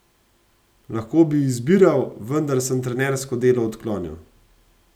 Lahko bi izbiral, vendar sem trenersko delo odklonil.